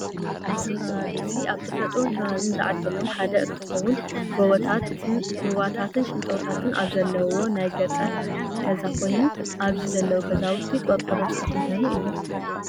እዚ ከባቢ እዚ ካብ ተፈጥሮን ከባብን ዝዓደሎም ሓደ እንትከውን ጎቦታት፣ ሩባታትን ሽንጥሮታት ኣብ ዘለዎ ናይ ገጠር ገዛ ኮይኑ ኣብዚ ዘለው ገዛውቲ ቆርቆሮ ዝተከደኑ እዮም።፣